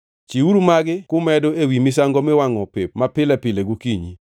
Chiwuru magi kumedo ewi misango miwangʼo pep mapile pile gokinyi.